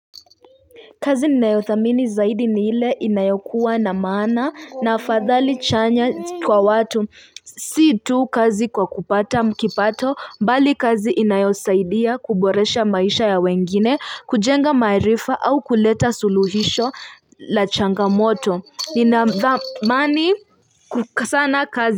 Kazi ni nayothamini zaidi ni ile inayokuwa na maana na afadhali chanya kwa watu si tu kazi kwa kupata kipato bali kazi inayosaidia kuboresha maisha ya wengine kujenga maarifa au kuleta suluhisho la changamoto linadhamani kukasana kazi.